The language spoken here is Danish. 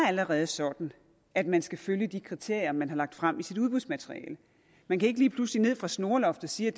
allerede sådan at man skal følge de kriterier man har lagt frem i sit udbudsmateriale man kan ikke lige pludselig ned fra snoreloftet sige at